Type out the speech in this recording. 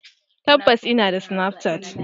Tabbas inada snapchat.